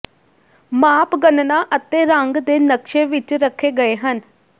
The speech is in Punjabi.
ਮਾਪ ਗਣਨਾ ਅਤੇ ਰੰਗ ਦੇ ਨਕਸ਼ੇ ਵਿੱਚ ਰੱਖੇ ਗਏ ਹਨ